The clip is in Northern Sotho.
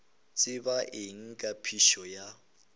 tseba eng ka phišo ya